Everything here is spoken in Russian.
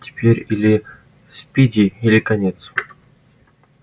теперь или спиди или конец